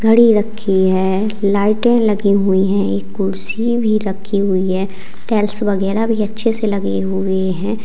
घड़ी रखी है लाइटें लगी हुई है एक कुर्सी भी रखी हुई है टाइल्स वगैरा भी अच्छे से लगे हुए हैं।